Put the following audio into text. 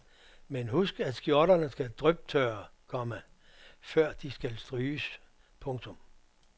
Men husk at skjorterne skal dryptørre, komma for de skal stryges. punktum